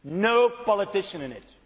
No politicians in it.